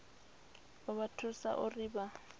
u vha thusa uri vha